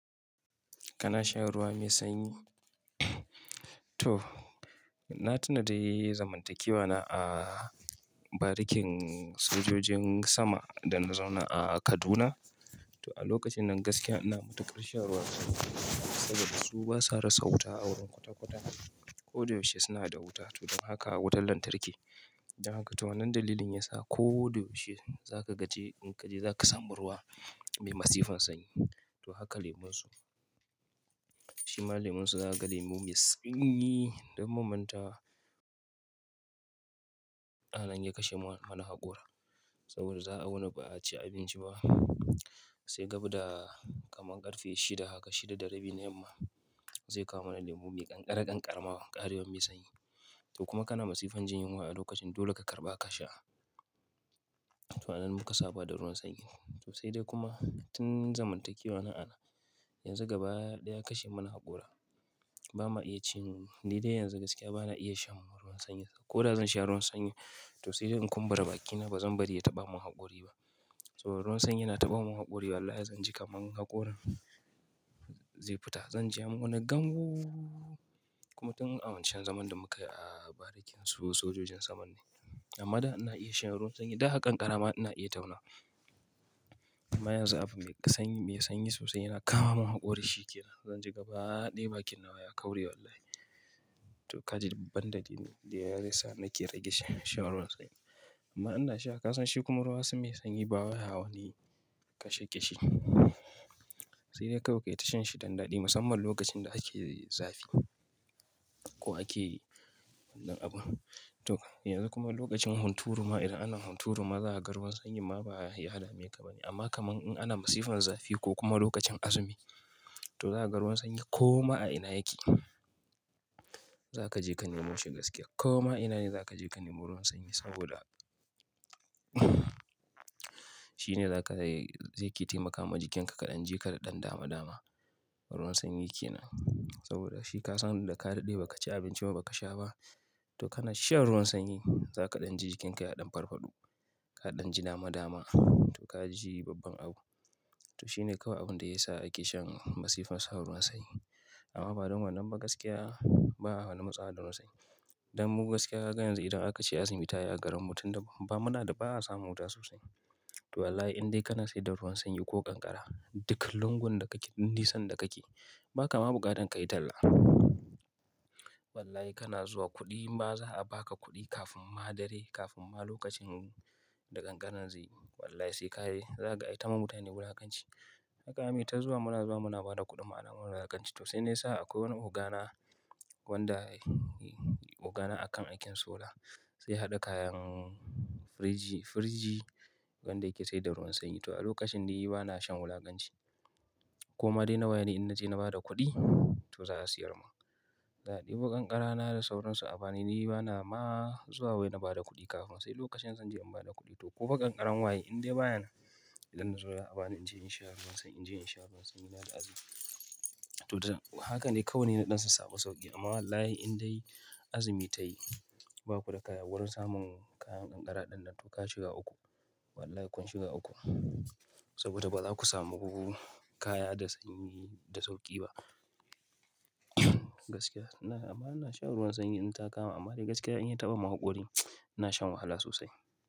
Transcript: Kana shan ruwa mai sanyi? To, na tuna dai zamantakewa na a barikin sojojin sama da na zauna a Kaduna. To a lokacin nan gaskiya ina matukar shan ruwan sanyi saboda su ba sa rasa wuta a wurin kwata-kwata. Ko da yaushe suna da wuta, to dan haka wutan lantarki. Don haka, to wannan dalilin yasa ko da yaushe zaka je in kaje zaka samu ruwa mai masifan sanyi. To haka lemun su, shima lemun su za ka ga lemu mai sanyi. Don ban mantawa, yana iya kashe ma wani haƙora saboda za a wuni ba a ci abinci ba. Sai gab da kaman ƙarfe shida haka, shida da rabi na yamma zai kawo mana lemu mai ƙanƙara ƙanƙara ƙarewan mai sanyi. To kuma kana masifan jin yunwa a lokacin dole ka karɓa ka sha. To a nan muka saba da ruwan sanyi. To sai dai kuma tun zamantakewa na anan, yanzu gaba ɗaya ya kashe mana haƙora. Ba ma iya cin, ni dai yanzu gaskiya ba na iya shan ruwan sanyi. Ko da zan sha ruwan sanyi, to sai dai in kumbura bakina ba zan bari ya taɓa mun haƙori ba. Saboda ruwan sanyi yana taɓa mun haƙori. Wallahi zan ji kaman haƙorin zai fita. Zan ji wani "gangu". Kuma tun a wancan zaman da muka yi a barikin su sojojin saman ne. Amma da ina iya shan ruwan sanyi. Da haka ƙanƙara ma ina iya tauna. Amma yanzu abu mai sanyi sosai yana kama mun haƙori sheƙera. Zan ji gaba ɗaya bakin nawa ya kaure wallahi. To kaji abun da ya sa nake rage shan ruwan sanyi. Amma ina sha kasan shi kuma ruwa mai sanyi baya wani kashe kishi. Sai dai kawai ka yi ta shan shi dan ɗadi musamman lokacin da ake zafi ko ake wannan abu. To yanzu kuma lokacin hunturuma idan ana hunturuma za ka ga ruwan sanyi ma ba ya dameka bane. Amma kaman in ana masifan zafi ko kuma lokacin azumi, to za ka ga ruwan sanyi ko ma a ina yake, za ka je ka nemo shi gaskiya. Ko ma ina ne za ka je ka nemo ruwan sanyi saboda shine zai ke taimaka wa jikinka ka ɗan ji ka da ɗan dama dama. Ruwan sanyi ke nan. Saboda shi ka san da ka daɗe ba ka ci abinci ba, ba ka sha ba, to kana shan ruwan sanyi za ka ɗan ji jikinka ya ɗan farfaɗo. Ka ɗan ji dama dama. To ka ji babban abu. To shine kawai abin da ya sa ake shan masifan sha ruwan sanyi. Amma ba don wannan ba gaskiya, ba a wani matsawa da ruwan sanyi. Dan mu gaskiya ka ga yanzu idan aka ce azumi ta yi garinmu tun da ba mu na da, ba a samu wuta sosai. To wallahi in dai kana sai da ruwan sanyi ko ƙanƙara, duk lungun da kake, duk nisan da kake ba ka ma buƙatar ka yi talla. Wallahi kana zuwa kuɗi ma za a ba ka kuɗi kafin ma dare, kafin ma lokacin da ƙanƙara zai yi. Wallahi sai ka je za ka aita ma mutane wulakanci. Haka zamuyi ta zuwa muna zuwa muna ba da kuɗin mu ana mana wulakanci. To sai ne sa akwai wani ogana wanda ogana a kan aikin sola. Zai ya haɗa kayan firiji, firiji wanda yake sai da ruwan sanyi. To a lokacin ni ba na shan wulakanci. Koma dai nawa ne in na je na bada kuɗi to za a siyar ma. Na ɗibu ƙanƙara na da sauransu. A bani ni, ni bana ma zuwa wai na bada kuɗi kafin. Sai lokacin zan je in bada kuɗi to ko fa ƙanƙaran waye in dai baya nan idan na zo ya a bani in je in sha ruwan sanyi, in je in sha ruwan sanyi na da azumi. To da haka ne kawai ni naɗan sa su samu sauƙi. Amma wallahi in dai azumi ta yi, ba ku da kaya wurin samun kayan ƙanƙara ɗinnan. To ka shiga uku, wallahi kun shiga uku. Saboda ba za ku samu kaya da sanyi da sauƙi ba. Gaskiya amma ina shan ruwan sanyi in ta kama amma dai gaskiya in ya taɓa mun haƙori, ina shan wahala sosai.